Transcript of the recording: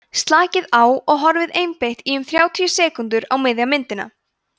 slakið á og horfið einbeitt í um þrjátíu sekúndur á miðja myndina